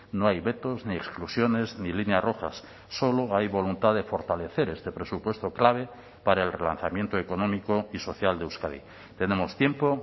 no hay vetos ni exclusiones ni líneas rojas solo hay voluntad de fortalecer este presupuesto clave para el relanzamiento económico y social de euskadi tenemos tiempo